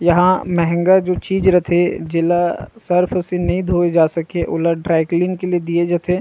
यहाँ महंगा जो चीज रथे जेला सर्फ़ से नि धोये जा सके ओला ड्राई क्लीन के लिए दिए जथे।